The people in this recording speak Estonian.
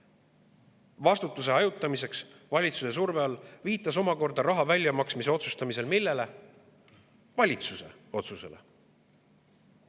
– viitas raha väljamaksmise otsustamisel vastutuse hajutamiseks ja valitsuse surve all omakorda valitsuse otsusele.